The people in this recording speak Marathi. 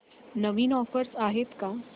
नवीन ऑफर्स आहेत का